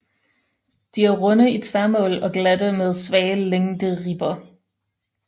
De er runde i tværmål og glatte med svage længderibber